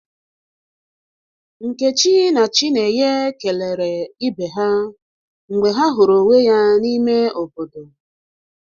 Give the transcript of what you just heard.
Nkechi na Chinenye kelere ibe ha mgbe ha huru onwe ya n'ime obodo.